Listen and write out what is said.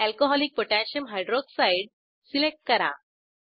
alcoholic potassium hydroxidealcकोह select करा